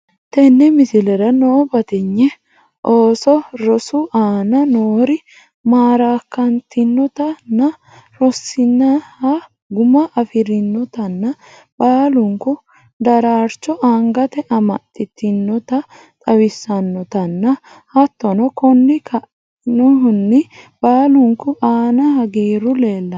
tenne mislerra noo batignee ooso roosu anna noori marakantinnota naa rosinnoha gumma afrinootana ballunku dararchoo angatte amaxitnnota xawisannotaana hattono konni kaaenhuni ballunku anna haggiru lellano.